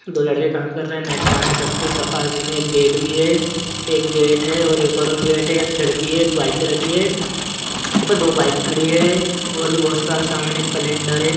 दो लड़के काम कर रहे है नेट पाने सब कुछ रखा हुआ है उसी मे एक गेट बी है एक गेट है और एक और और गेट है एक खिड़की है एक बाल्टी राखी है दो बाइक खड़े है और बी बहुत सारा समान है कैलंडर है ।